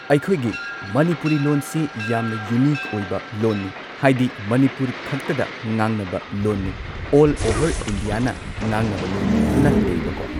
ꯑꯩꯈꯣꯏꯒꯤ ꯃꯅꯤꯄꯨꯔꯤ ꯂꯣꯟꯁꯤ ꯌꯥꯝꯅ ꯌꯨꯅꯤꯛ ꯑꯣꯏꯕ ꯂꯣꯟꯅꯤ ꯍꯥꯏꯗꯤ ꯃꯅꯤꯄꯨꯔ ꯈꯛꯇꯗ ꯉꯥꯡꯅꯕ ꯂꯣꯟꯅꯦ ꯑꯣꯜ ꯑꯣꯚꯔ ꯏꯟꯗꯤꯌꯥꯅ ꯉꯥꯡꯅꯕ ꯂꯣꯟ ꯅꯠꯇꯦꯕꯀꯣ